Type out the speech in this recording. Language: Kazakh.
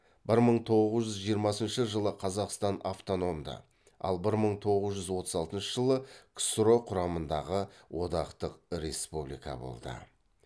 бір мың тоғыз жүз жиырмасыншы жылы қазақстан автономды ал бір мың тоғыз жүз отыз алтыншы жылы ксро құрамындағы одақтық республика болды